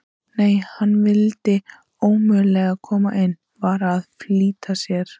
Nei, hann vildi ómögulega koma inn, var að flýta sér.